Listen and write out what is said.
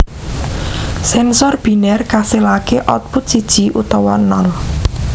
Sènsor binèr kasilaké output siji utawa nol